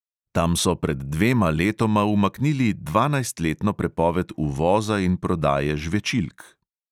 Tam so pred dvema letoma umaknili dvanajstletno prepoved uvoza in prodaje žvečilk.